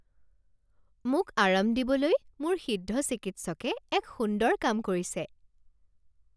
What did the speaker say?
মোক আৰাম দিবলৈ মোৰ সিদ্ধ চিকিৎসকে এক সুন্দৰ কাম কৰিছে